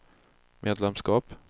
medlemskap